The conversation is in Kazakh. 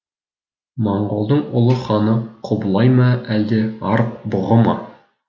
монғолдың ұлы ханы құбылай ма әлде арық бұғы ма